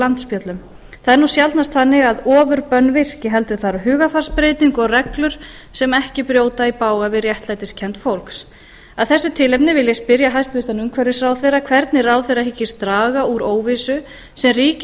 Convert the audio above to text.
landspjöllum það er nú sjaldnast þannig að ofurbönn virki heldur þarf hugarfarsbreytingu og reglur sem ekki brjóta í bága við réttlætiskennd fólks af þessu tilefni vil ég spyrja hæstvirtur umhverfisráðherra hvernig ráðherra hyggist draga úr óvissu sem ríkir